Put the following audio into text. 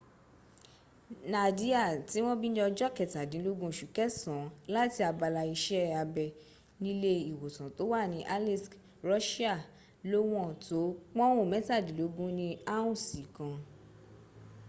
nadia tí wọ́n bí ní ọjọ́ kẹtàdínlógún oṣù kẹsàn án láti abala iṣẹ́ abẹ nílé ìwòsàn tó wà ní aleisk russia lówọn tó pọ́ùn mẹ́tàdínlógún ní áùnsì kan